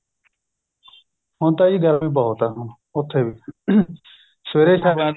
ਹੁਣ ਤਾਂ ਗਰਮੀ ਬਹੁਤ ਏ ਹੁਣ ਉਥੇ ਵੀ ਸਵੇਰੇ